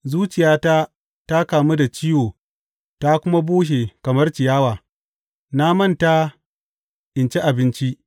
Zuciyata ta kamu da ciwo ta kuma bushe kamar ciyawa; na manta in ci abinci.